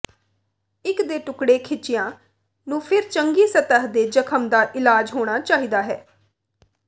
ਟਿੱਕ ਦੇ ਟੁਕੜੇ ਖਿੱਚਿਆ ਨੂੰ ਫਿਰ ਚੰਗੀ ਸਤਹ ਦੇ ਜ਼ਖ਼ਮ ਦਾ ਇਲਾਜ ਹੋਣਾ ਚਾਹੀਦਾ ਹੈ